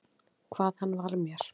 Hvað hann var mér.